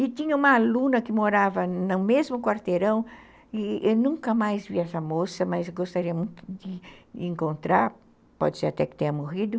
E tinha uma aluna que morava no mesmo quarteirão, e eu nunca mais vi essa moça, mas gostaria muito de encontrar, pode ser até que tenha morrido.